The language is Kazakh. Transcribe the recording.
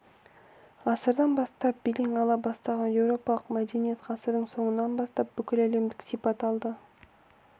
ғасырдан бастап белең ала бастаған еуропалық мәдениет ғасырдың соңынан бастап бүкіләлемдік сипат алды